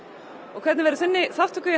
og hvernig verður þinni þátttöku